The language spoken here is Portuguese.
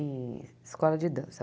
Em escola de dança.